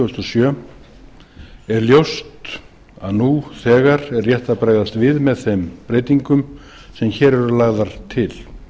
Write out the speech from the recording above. þúsund og sjö er ljóst að nú þegar er rétt að bregðast við með þeim breytingum sem hér eru lagðar til